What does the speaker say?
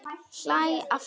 Hlæ aftur.